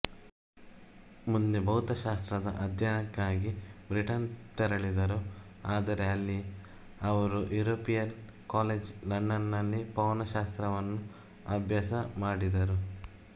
ಮುಂದೆ ಭೌತಶಾಸ್ತ್ರದ ಅಧ್ಯಯನಕ್ಕಾಗಿ ಬ್ರಿಟನ್ ತೆರಳಿದರು ಆದರೆ ಅಲ್ಲಿ ಅವರು ಇಂಪೀರಿಯಲ್ ಕಾಲೇಜ್ ಲಂಡನ್ನಲ್ಲಿ ಪವನಶಸ್ತ್ರವನ್ನು ಅಭ್ಯಾಸ ಮಾಡಿದರು